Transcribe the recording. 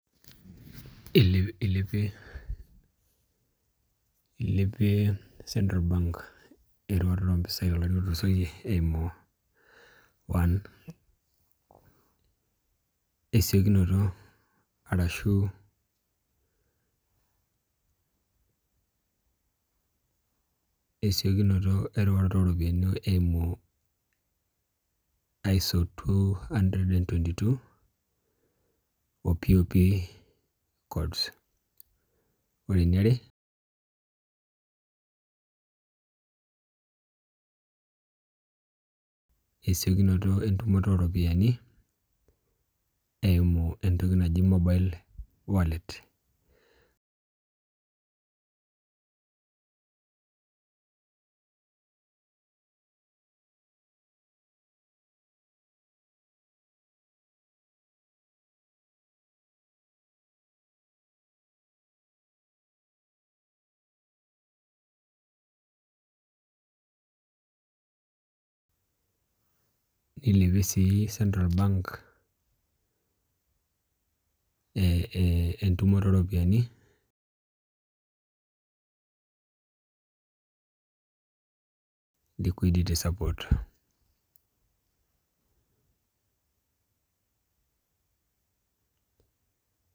Ilepie ilepie Central Bank eriwaroto ompisai tolari lotulusoyie eimu ; 1 esiokinoto arashu esiokinoto erewata oropiani eimu aiso 222 o POP codes Ore eniare esiokinoto entumoto oo ropiani eimu entoki naji monile wallet Nilepie sii Central Bank ee entumoto oropiani liquiditysupport